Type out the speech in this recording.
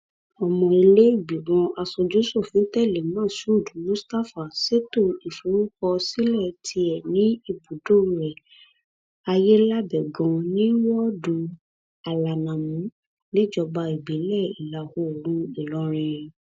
ọmọ ilé ìgbìmọ̀ asojúsòfin tẹ̀lé moshood mustapha ṣètò ìforúkọsílẹ tiẹ ní ibùdó rẹ aiyelábẹgàn ní wọ́ọ́dù alanamú níjọba ìbílẹ ìlàoòrùn ìlọrin